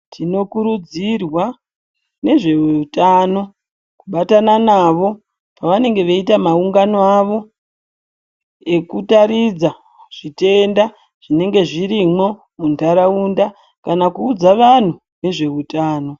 Tinokurudzirwawo nezve veutano kubatana navo pavanenge veita maungano avo ekutaridza zvitenda zvinenge zvirimwo mundaraunda kana kuudza vanhu nezveutano.